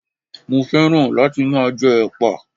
Mo féràn láti máa jẹ Ẹ̀pà.